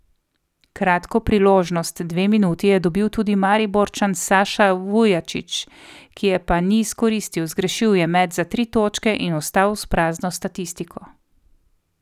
Kratko priložnost, dve minuti, je dobil tudi Mariborčan Saša Vujačić, ki je pa ni izkoristil, zgrešil je met za tri točke in ostal s prazno statistiko.